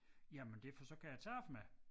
Jamen det for så kan jeg tabe mig